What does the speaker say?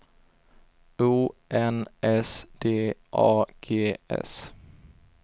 O N S D A G S